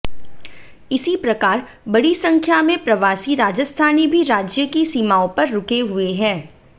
इसी प्रकार बड़ी संख्या में प्रवासी राजस्थानी भी राज्य की सीमाओं पर रुके हुए हैं